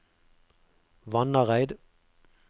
Vannareid